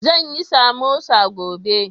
Zan yi samosa gobe.